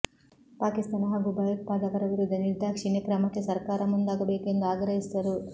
ಪಾಕಿಸ್ತಾನ ಹಾಗೂ ಭಯೋತ್ಪಾದಕರ ವಿರುದ್ಧ ನಿರ್ದಾಕ್ಷಿಣ್ಯ ಕ್ರಮಕ್ಕೆ ಸರ್ಕಾರ ಮುಂದಾಗಬೇಕು ಎಂದು ಆಗ್ರಹಿಸಿದರು